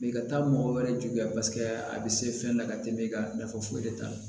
i ka taa mɔgɔ wɛrɛ juguya a bɛ se fɛn la ka tɛmɛ e ka nafa foyi de t'a la